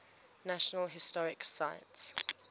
national historic site